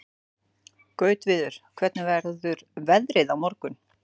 Gautviður, hvernig verður veðrið á morgun?